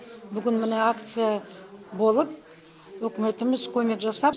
бүгін міне акция болып үкіметіміз көмек жасап